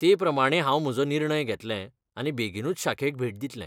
ते प्रमाण हांव म्हजो निर्णय घेतलें आनी बेगीनूच शाखेक भेट दितलें.